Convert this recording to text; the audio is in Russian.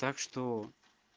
так что